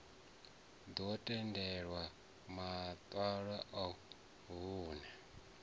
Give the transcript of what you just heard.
ḓo tendelwa maṋwalo a vhunṋe